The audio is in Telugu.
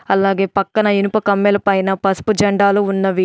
అలాగే పక్కన ఇనుప కమ్మెలపైన పసుపు జెండాలు ఉన్నవి.